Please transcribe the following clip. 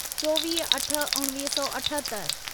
चोवीह अठ उणवीह सौ अठहतरि